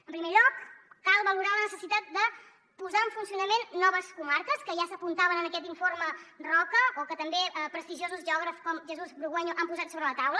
en primer lloc cal valorar la necessitat de posar en funcionament noves comarques que ja s’apuntaven en aquest informe roca o que també prestigiosos geògrafs com jesús burgueño han posat sobre la taula